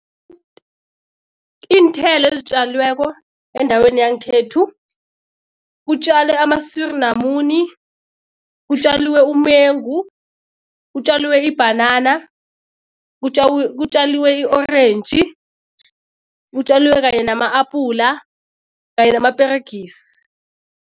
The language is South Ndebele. Iinthelo ezitjalweko endaweni yangekhethu, kutjalwe amasiri lamuni, kutjaliwe umengu, kutjaliwe ibhanana, kutjaliwe i-orentji, kutjalwe kanye nama-apula kanye namaperegisi.